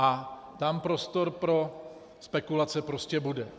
A tam prostor pro spekulace prostě bude.